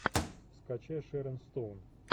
скачай шерон стоун